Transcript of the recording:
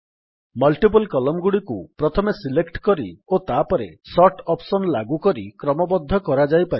multiple column ଗୁଡ଼ିକୁ ପ୍ରଥମେ select କରି ଓ ତାପରେ ସୋର୍ଟ ଅପ୍ସନ୍ ଲାଗୁ କରି କ୍ରମବଦ୍ଧ କରାଯାଇପାରିବ